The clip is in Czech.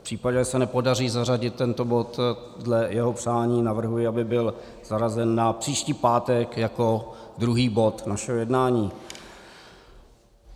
V případě, že se nepodaří zařadit tento bod dle jeho přání, navrhuji, aby byl zařazen na příští pátek jako druhý bod našeho jednání.